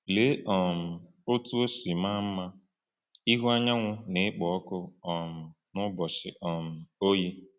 Lee um otú o si maa mma ịhụ anyanwụ na-ekpo ọkụ um n’ụbọchị um oyi!